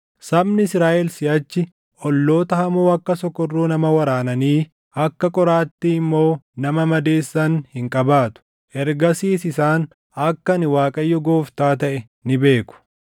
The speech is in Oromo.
“ ‘Sabni Israaʼel siʼachi olloota hamoo akka sokorruu nama waraananii akka qoraattii immoo nama madeessan hin qabaatu. Ergasiis isaan akka ani Waaqayyo Gooftaa taʼe ni beeku.